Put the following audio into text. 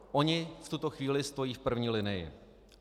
Oni v tuto chvíli stojí v první linii.